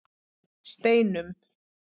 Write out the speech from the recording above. Steinum